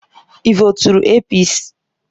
Ị voturu APC: